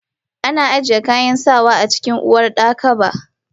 Ana ajiye kayan sawa a cikin uwardakaba.